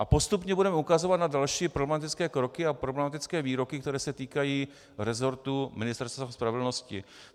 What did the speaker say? A postupně budeme ukazovat na další problematické kroky a problematické výroky, které se týkají resortu Ministerstva spravedlnosti.